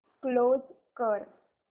close कर